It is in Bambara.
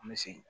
An bɛ segin